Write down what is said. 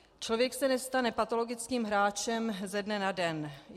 Člověk se nestane patologickým hráčem ze dne na den.